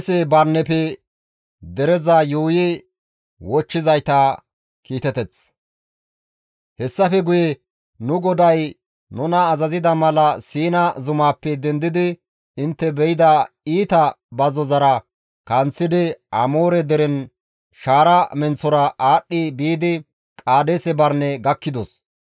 «Hessafe guye nu GODAY nuna azazida mala Siina zumaappe dendidi intte be7ida iita bazzozara kanththidi Amoore deren shaara menththora aadhdhi biidi Qaadeese Barine gakkidos.